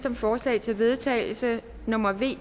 om forslag til vedtagelse nummer v